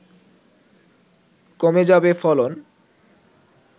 কমে যাবে ফলন